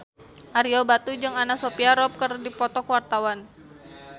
Ario Batu jeung Anna Sophia Robb keur dipoto ku wartawan